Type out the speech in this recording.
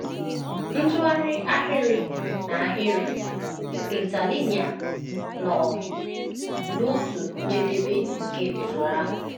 Ntụgharị ahịrị n’ahịrị (interlinear) nọ n’otu njedebe nke usoro ahụ.